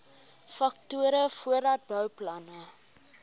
faktore voordat bouplanne